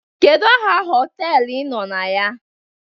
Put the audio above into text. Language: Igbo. Kedu aha họtelụ ị nọ na ya?